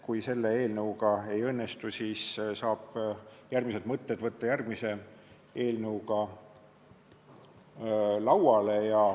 Kui selle eelnõuga see ei õnnestu, siis saab järgmised mõtted võtta järgmise eelnõuga lauale.